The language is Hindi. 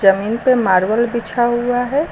यहीं पे मार्बल बिछा हुआ है।